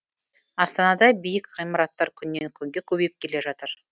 астанада биік ғимараттар күннен күнге көбейіп келе жатыр